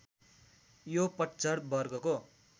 यो पतझड वर्गको